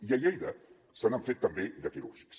i a lleida se n’han fet també de quirúrgics